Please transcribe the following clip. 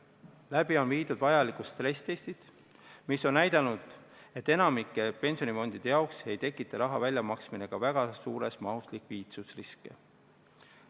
Läbi on viidud vajalikud stressitestid, mis on näidanud, et enamiku pensionifondide jaoks ei tekita raha väljamaksmine ka väga suures mahus likviidsusriski.